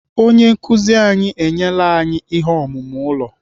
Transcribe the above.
Onye nkụzi anyị enyela anyị ihe omume ụlọ.